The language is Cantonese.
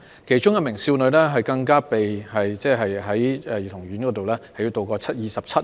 當中的一名少女，更被迫在兒童院度過了27日。